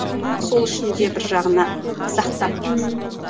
мхм сол үшін де бір жағынан сақтап ммм